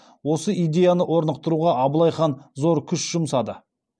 осы идеяны орнықтыруға абылай хан зор күш жұмсады